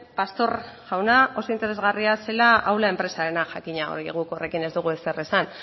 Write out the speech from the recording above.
pastor jauna oso interesgarria zela aula enpresarena jakina hori guk horrekin ez dugu ezer esan